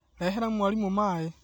Rehera mwarimũmaĩ